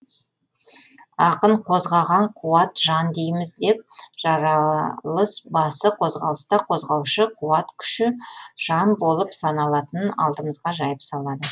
ақын қозғаған қуат жан дейміз деп жаралыс басы қозғалыста қозғаушы қуат күші жан болып саналатынын алдымызға жайып салады